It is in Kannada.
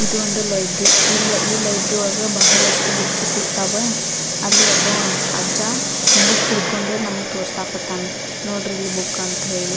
ಇದೊಂದು ಲೈಬ್ರಿ ಈ ಲೈಬ್ರಿ ಒಳ್ಗ ಬಹಳಷ್ಟು ಬುಕ್ಸ್ ಸಿಗ್ತಾವ ಅಲ್ಲ್ ಒಬ್ಬ ಅಜ್ಜ ಬುಕ್ಕ್ ಹಿಡ್ಕೊಂಡು ನಮಗ್ ತೋರ್ಸಾಕತ್ತಾನ ನೋಡ್ರಿ ಇಲ್ಲಿ ಬುಕ್ಕ್ ಅಂತ ಹೇಳಿ.